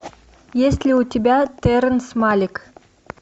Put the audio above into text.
есть ли у тебя терренс малик